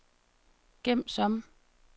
gem som